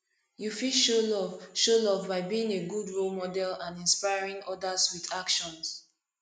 you fit show love show love by being a good role model and inspring others with actions